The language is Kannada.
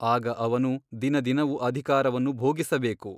ಆಗ ಅವನು ದಿನ ದಿನವು ಅಧಿಕಾರವನ್ನು ಭೋಗಿಸಬೇಕು.